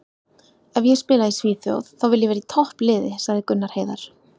Ef ég spila í Svíþjóð þá vil ég vera í toppliði, sagði Gunnar Heiðar.